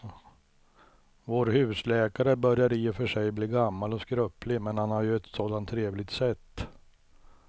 Vår husläkare börjar i och för sig bli gammal och skröplig, men han har ju ett sådant trevligt sätt!